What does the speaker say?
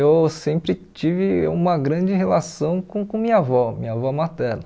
Eu sempre tive uma grande relação com com minha avó, minha avó materna.